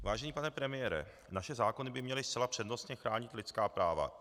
Vážený pane premiére, naše zákony by měly zcela přednostně chránit lidská práva.